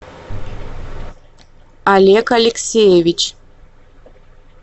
олег алексеевич